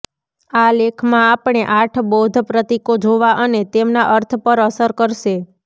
આ લેખમાં આપણે આઠ બૌદ્ધ પ્રતીકો જોવા અને તેમના અર્થ પર અસર કરશે